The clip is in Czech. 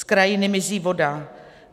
Z krajiny mizí voda.